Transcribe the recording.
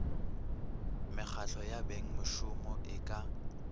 mekgahlo ya bengmešomo e ka